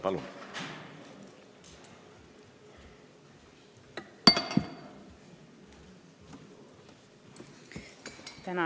Palun!